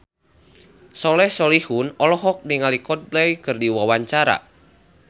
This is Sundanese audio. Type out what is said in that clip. Soleh Solihun olohok ningali Coldplay keur diwawancara